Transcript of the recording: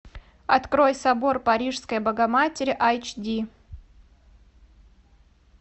открой собор парижской богоматери айч ди